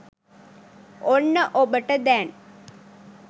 ඔන්න ඔබට දැන්